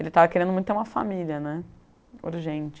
Ele estava querendo muito ter uma família né, urgente.